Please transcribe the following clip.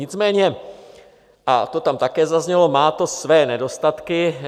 Nicméně, a to tam také zaznělo, má to své nedostatky.